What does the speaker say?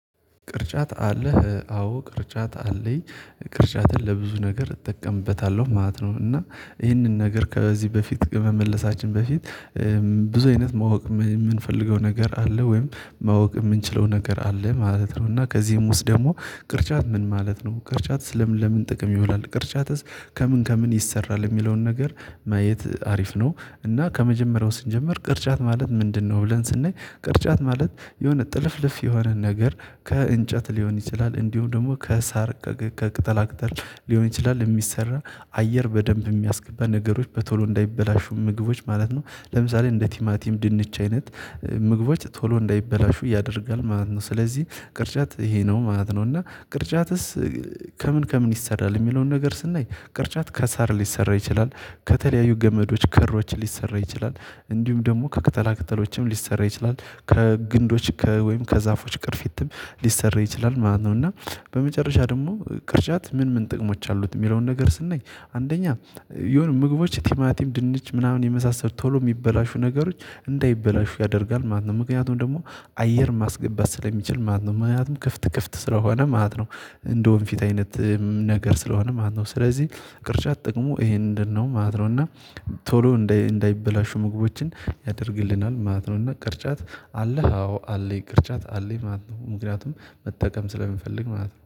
ቅርጫት አለህ አዎ ቅርጫት አለኝ ቅርጫትን ለብዙ ነገር እጠቀምበታለሁ ማለት ነው። እና ይህንን ነገር ከዚህ በፊት ከመመለሳችን በፊት ብዙ አይነት ማወቅ የምንፈልገው ነገር አለ ወይም ማወቅ የምንችለው ነገር አለ ማለት ነው። እና ከዚህም ውስጥ ደግሞ ቅርጫት ምን ማለት ነው ቅርጫት ለምን ለምን ጥቅም ይውላል? ቅርጫትስ ከምን ከምን ይሰራል የሚለውን ነገር ማየት አሪፍ ነው። እና ከመጀመሪያው ስንጀምር ቅርጫት ማለት ምንድነው? ብለን ስንይ ቅርጫት ማለት የሆነ ጥልፍልፍ የሆነ ነገር ከእንጨት ሊሆን ይችላል። እንዲሁም ደግሞ ከሳር ከቅጠላ ቅጠል ሊሆን ይችላል። የሚሰራ አየር በደንብ የሚያስገባ ነገሮች በቶሎ እንዳይበላሹ ምግቦች ማለት ነው። ለምሳሌ እንደ ቲማቲም ድንች አይነት ምግቦች ቶሎ እንዳይበላሹ ያደርጋል ማለት ነው። ስለዚህ ቅርጫት ይሄ ነው ማለት ነው። እና ቅርጫትስ ከምን ከምን ይሰራል? የሚለውን ነገር ስናይ ቅርጫት ከሳር ሊሰራ ይችላል። ከተለያዩ ገመዶች ከሮች ሊሰራ ይችላል። እንዲሁም ደግሞ ከቅጠላ ቅጠሎችም ሊሰራ ይችላል። ከግንዶች ከ ወይም ከዛፎች ቅርፊትም ሊሰራ ይችላል ማለት ነው። እና በመጨረሻ ደግሞ ቅርጫት ምን ምን ጥቅሞች አሉት? የሚለውን ነገር ስንይ አንደኛ የሆነ ምግቦች ቲማቲም ድንች ምናምን የመሳሰል ቶሎ የሚበላሹ ነገሮች እንዳይበላሹ ያደርጋል ማለት ነው። ምክንያቱም ደግሞ አየር ማስገባት ስለሚችል ማለት ነው። ምክንያቱም ክፍት ክፍት ስለሆነ ማለት ነው። እንደውም ፊት አይነት ነገር ስለሆነ ማለት ነው። ስለዚህ ቅርጫት ጥቅሙ ይሄንን ነው ማለት ነው። እና ቶሎ እንዳይበላሹ ምግቦችን ያደርግልናል ማለት ነው። እና ቅርጫት አለ አዎ አለኝ ቅርጫት አለኝ ማለት ነው። ምክንያቱም መጠቀም ስለሚፈልግ ማለት ነው